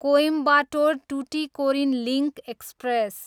Coimbatore, Tuticorin link express